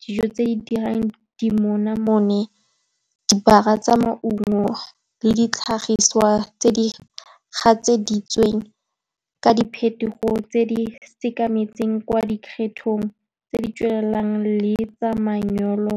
dijo tse di dirang dimonamone, dibaga tsa maungo le ditlhagiswa tse di gatseditsweng, ka diphetogo tse di sekametseng kwa di kgethong tse di tswelelang le tsa manyolo.